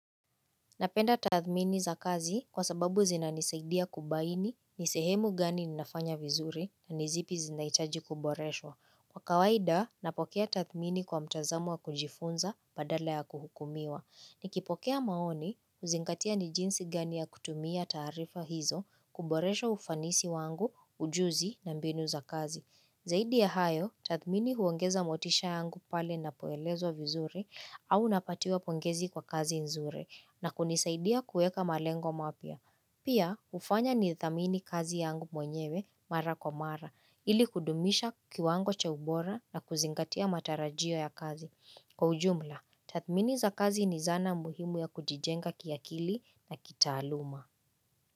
Napenda tathmini za kazi kwa sababu zinanisaidia kubaini, ni sehemu gani ninafanya vizuri na nizipi zinaihitaji kuboreshwa. Kwa kawaida, napokea tathmini kwa mtazamo wa kujifunza badala ya kuhukumiwa. Nikipokea maoni, huzingatia ni jinsi gani ya kutumia taarifa hizo kuboresha ufanisi wangu, ujuzi na mbinu za kazi. Zaidi ya hayo, tathmini huongeza motisha yangu pale ninapoelezwa vizuri au napatiwa pongezi kwa kazi nzuri na kunisaidia kuweka malengo mapya. Pia, hufanya ni thamini kazi yangu mwenyewe mara kwa mara ili kudumisha kiwango cha ubora na kuzingatia matarajio ya kazi. Kwa ujumla, tathmini za kazi ni zana muhimu ya kujijenga kiakili na kitaaluma.